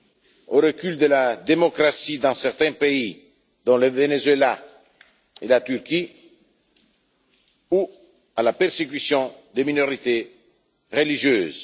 assister au recul de la démocratie dans certains pays, dont le Venezuela et la Turquie, ou à la persécution des minorités religieuses.